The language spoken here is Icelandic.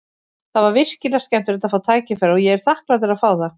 Það var virkilega skemmtilegt að fá tækifæri og ég er þakklátur að fá það.